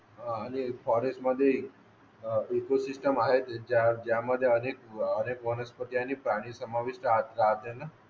हा आणि फॉरेस्ट मध्ये अह इकोसिस्टम आहे ज्यामध्ये अनेक अनेक वनस्पती आणि प्राणी समाविष्ट असतात ज्यांना